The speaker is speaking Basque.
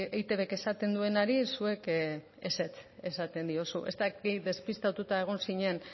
eitbk esaten duenari zuek ezetz esaten diozu ez dakit despistatuta egon zinen